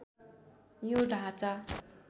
यो ढाँचा